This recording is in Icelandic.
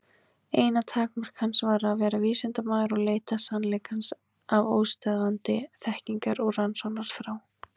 Eina takmark hans var að vera vísindamaður og leita sannleikans af óstöðvandi þekkingar- og rannsóknarþrá.